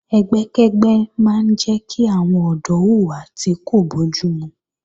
Ẹgbẹ́kẹ́gbẹ́ máa ń jẹ́ kí àwọn ọ̀dọ́ hùwà tí kò bójúmu